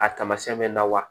A taamasiyɛn bɛ na wa